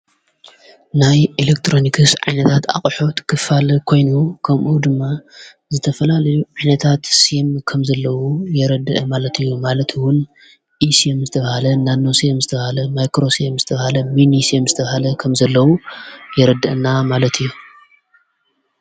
ናይ ኤለክጥሮንክስ ዓይነታት ኣቕሑት ክፋለ ኮይኑ ከምኡ ድማ ዝተፈላል ኣኅነታት ሴም ከም ዘለዉ የረድአ ማለት እዩ ማለትውን ኢኢስም ዝብሃለ ናኖሴም ዝተብሃለ ማይክሮሴም ዝተብሃለ ሚን ዩሴ ም ዝተብሃለ ኸም ዘለዉ የረድአና ማለት እዩ።